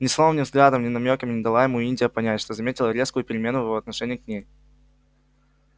ни словом ни взглядом ни намёком не дала ему индия понять что заметила резкую перемену в его отношении к ней